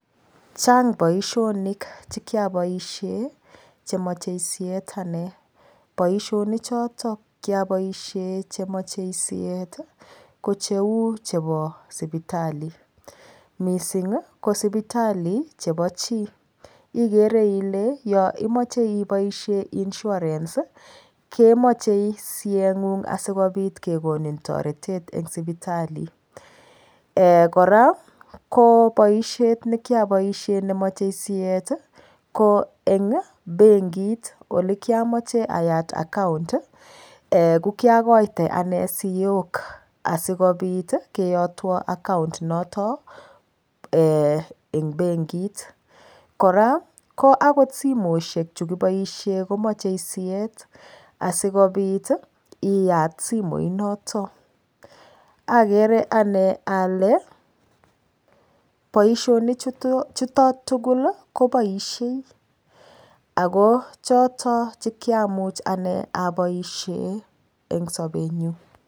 Chang boishonik chekiapoishe chemachei siet ane boishonik choto kiaboishe chemachei siet kocheu chepo sipitali mising ko sipitali chepo chii igere ile yo imoche ipoishe insurance komochei siyeyng'ung asikopit kekonin toretet eng sipitali kora ko boishet nekiaboishe nemochei siet ko eng benkit ole kiamache ayat account ko kiakoite ane siyok asikopit keyotwo account noto ing benkit kora ko akot simoshek chukiboishe komochei siet asikopit iyat simoit noto akere ane ale boishonik chuto tugul kopoishei ako choto chekiamuch ane aboishe eng sobenyu